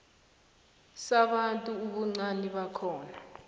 sabantu ubuncani bakhona